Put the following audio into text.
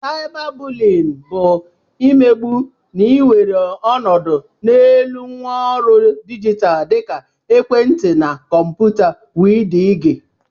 Caiba bụlyin bụ imegbu na-ewere ọnọdụ n'elu ngwaọrụ dijitalụ dika ekwentị na kọmputa wdg